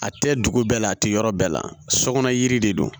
A tɛ dugu bɛɛ la a tɛ yɔrɔ bɛɛ la sɔkɔnɔ yiri de don